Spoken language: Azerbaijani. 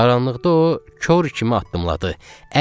Qaranlıqda o kor kimi addımladı.